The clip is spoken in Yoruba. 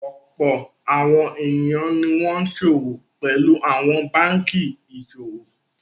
Ọ̀pọ̀ àwọn ènìyàn ni wọ́n ṣòwò pẹ̀lú àwọn báńkì ìṣòwò.